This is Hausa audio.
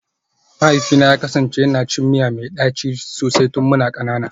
Mahaifina ya kasance yana cin miya mai daci sosai tun muna kanana